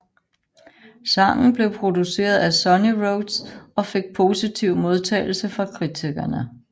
Sangen blev produceret af Sunnyroads og fik positiv modtagelse fra kritikerne